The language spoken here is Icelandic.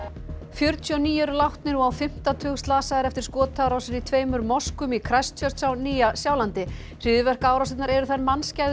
fjörutíu og níu eru látnir og á fimmta tug slasaðir eftir skotárásir í tveimur moskum í Christchurch á Nýja Sjálandi hryðjuverkaárásirnar eru þær